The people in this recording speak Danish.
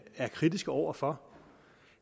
er kritiske over for